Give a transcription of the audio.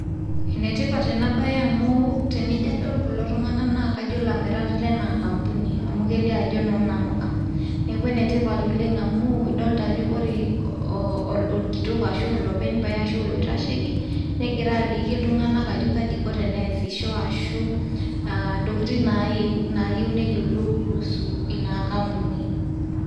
Ene tipat ena baye amu tenijo adol kulo tung'anak naa kajo ilamirak lena kampuni amu kelio ajo eno naamuka. Neeku ene tipat amu ildota ajo kore orkitok ashu olopeny pae ashu olaitasheki negira aliki iltung'anak ajo akji iko teniasisho ashu ntokitin nayeu nayeu neyolou kuhusu ina kampuni.